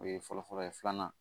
O ye fɔlɔ fɔlɔ ye filanan